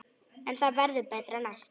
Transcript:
En það verður betra næst.